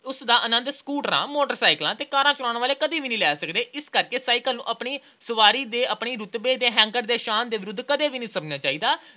ਉਸ ਦਾ ਆਨੰਦ ਸਕੂਟਰਾਂ, ਮੋਟਰਸਾਈਕਲਾਂ ਤੇ ਕਾਰਾਂ ਚਲਾਉਣ ਵਾਲਿਆਂ ਨੂੰ ਕਦੇ ਵੀ ਨਹੀਂ ਲੈ ਸਕਦੇ। ਇਸ ਕਰਕੇ ਸਾਈਕਲ ਦੀ ਸਵਾਰੀ ਨੂੰ ਆਪਣੀ ਰੁਤਬੇ ਦੀ ਹੈਂਕੜ ਤੇ ਸ਼ਾਨ ਦੇ ਵਿਰੁੱਧ ਨਹੀਂ ਸਮਝਣਾ ਚਾਹੀਦਾ।